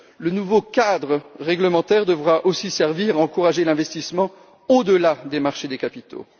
Le nouveau cadre réglementaire devra aussi servir à encourager l'investissement au delà des marchés de capitaux.